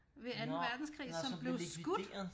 Ved 2. verdenskrig som blev skudt